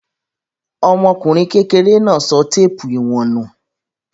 Ọmọkùnrin kekere náà sọ téépù ìwọ̀n nù.